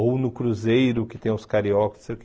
Ou no Cruzeiro, que tem uns cariocas, não sei o quê.